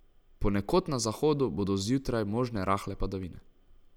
Ponekod na zahodu bodo zjutraj možne rahle padavine.